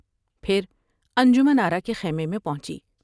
پھر انجمن آرا کے خیمے میں پہنچی ۔